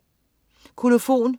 Kolofon